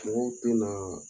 Kew tɛnaaa